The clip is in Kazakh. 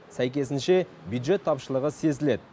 сәйкесінше бюджет тапшылығы сезіледі